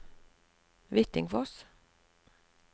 Hvittingfoss